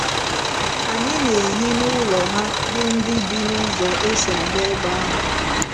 Anyị na - ehi n’ụlọ ha bụ ndị bi n’ụzọ e si aga ebe ahụ.